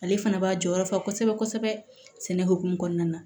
Ale fana b'a jɔyɔrɔ fa kosɛbɛ kosɛbɛ sɛnɛ hokumun kɔnɔna na